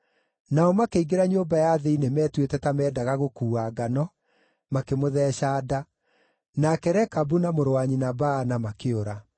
Nao makĩingĩra nyũmba ya thĩinĩ metuĩte ta meendaga gũkuua ngano, makĩmũtheeca nda. Nake Rekabu na mũrũ wa nyina Baana makĩũra.